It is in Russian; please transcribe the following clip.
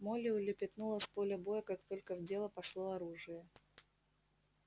молли улепетнула с поля боя как только в дело пошло оружие